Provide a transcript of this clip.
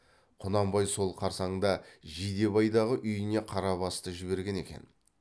құнанбай сол қарсаңда жидебайдағы үйіне қарабасты жіберген екен